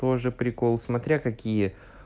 позже прикол смотря какие